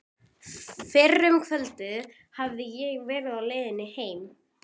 Fyrr um kvöldið hafði ég verið á leiðinni heim.